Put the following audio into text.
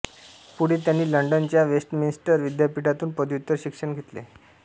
पुढे त्यानी लंडनच्या वेस्टमिन्स्टर विद्यापीठातून पदव्युत्तर शिक्षण घेतले